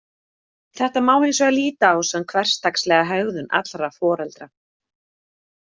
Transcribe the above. Þetta má hins vegar líta á sem hversdagslega hegðun allra foreldra.